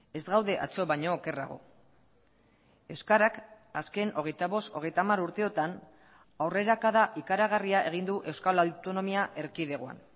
ez gaude atzo baino okerrago euskarak azken hogeita bost hogeita hamar urteotan aurrerakada ikaragarria egin du euskal autonomia erkidegoan